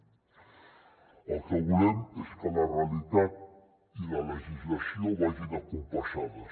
el que volem és que la realitat i la legislació vagin compassades